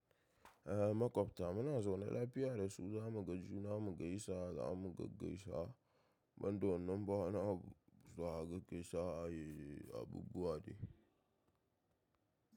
Ehh maƙwabta muna zaune lafiya da su, za mu ga juna mu gaisa, za mu gaggaisa banda wannan ba wani abu. Za a gaggaisa ke ayi abubuwa dai.